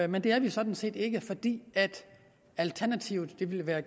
men det er vi sådan set ikke fordi alternativet ville være